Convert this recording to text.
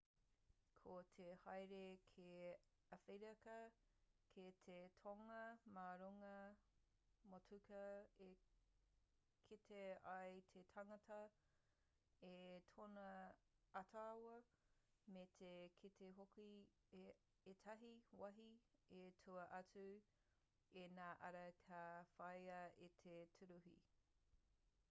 ko te haere ki awherika ki te tonga mā runga motuka e kite ai te tangata i tōna ātaahua me te kite hoki i ētahi wāhi i tua atu i ngā ara ka whāia e te tūruhi